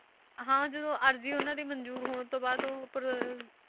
ਹਾਂ ਜਦੋਂ ਅਰਜ਼ੀ ਉਹਨਾਂ ਦੀ ਮੰਨਜ਼ੂਰ ਹੋਣ ਤੋਂ ਬਾਅਦ ਉਹ ਪਰ